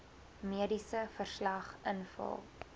mediese verslag invul